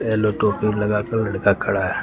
Yellow टोपी लगाकर लड़का खड़ा है।